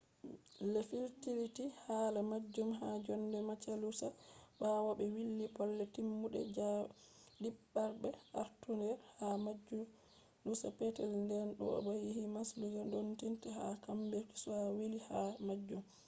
ɓe firliti hala majjum ha jonde majalusa ɓawo ɓe wili bolle-timmude ɗidaɓre artundere ha majalusa petel nden bo'o yahi majalusa ndotti'en ha kambefu be wili hala majum